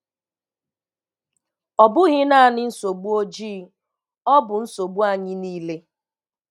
Ọ bụghị naanị nsogbu ojii, ọ bụ nsogbu anyị niile.